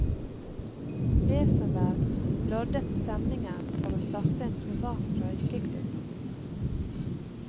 Wesenberg loddet stemningen for å starte en privat røykeklubb.